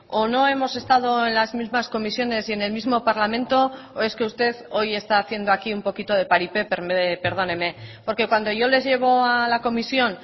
o no hemos estado en las mismas comisiones y en el mismo parlamento o es que usted hoy está haciendo aquí un poquito de paripé perdóneme porque cuando yo les llevo a la comisión